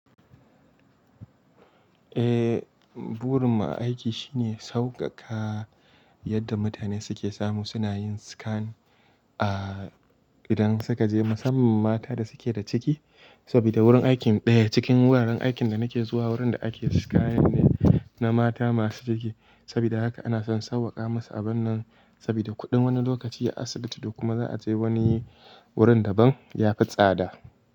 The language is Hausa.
Eh, burin mu a aiki shine sauƙaƙa yadda mutane suke samu suna yin scan, a idan suka je musamman mata da suke da ciki. Saboda wurin aikin ɗaya cikin wuraren aikin da nake zuwa wurin da ake scan ne na mata masu ciki. Saboda haka ana son sauwaƙa musu abun nan saboda kuɗin wani lokaci a asibiti da kuma za a je wani wurin daban ya fi tsada.